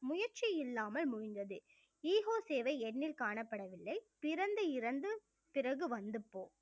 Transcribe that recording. முயற்சி இல்லாமல் முடிந்தது ஈகோ சேவை எண்ணில் காணப்படவில்லை பிறந்து இறந்து பிறகு வந்து போ